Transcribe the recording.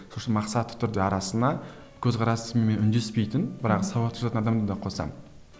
мақсатты түрде арасына көзқарасыммен үндеспейтін бірақ сауатты жазатын адамды да қосамын